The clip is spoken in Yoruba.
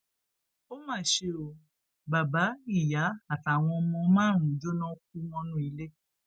ó mà ṣe ó bàbá ìyá àtàwọn ọmọ márùnún jóná kú mọnú ilé